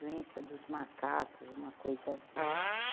doença dos macacos, uma coisa assim.